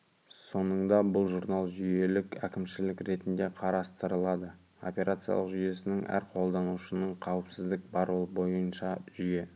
соңында бұл журнал жүйелік әкімшілік ретінде қарастырылады операциялық жүйесінің әр қолданушының қауіпсіздік бар ол бойынша жүйе